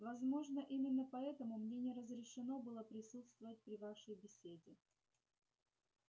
возможно именно поэтому мне не разрешено было присутствовать при вашей беседе